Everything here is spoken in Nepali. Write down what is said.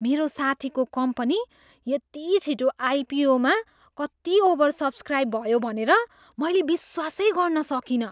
मेरो साथीको कम्पनी यति छिटो आइपिओमा कति ओभरसब्सक्राइब भयो भनेर मैले विश्वासै गर्न सकिनँ।